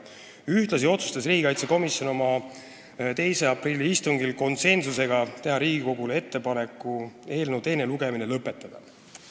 Ühtlasi otsustas riigikaitsekomisjon oma 2. aprilli istungil teha Riigikogule ettepaneku eelnõu teine lugemine lõpetada.